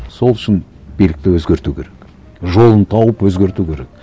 сол үшін билікті өзгерту керек жолын тауып өзгерту керек